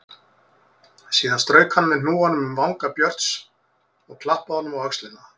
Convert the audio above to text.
Síðan strauk hann með hnúanum um vanga Björns og klappaði honum á öxlina.